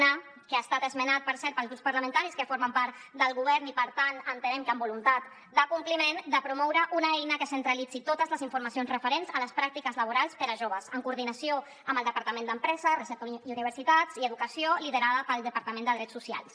a que ha estat esmenat per cert pels grups parlamentaris que formen part del govern i per tant entenem que amb voluntat de compliment de promoure una eina que centralitzi totes les informacions referents a les pràctiques laborals per a joves en coordinació amb el departament d’empresa recerca i universitats i educació liderada pel departament de drets socials